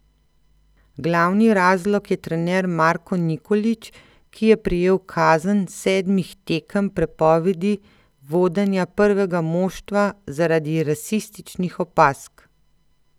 Glavni razlog je trener Marko Nikolić, ki je prejel kazen sedmih tekem prepovedi vodenja prvega moštva zaradi rasističnih opazk.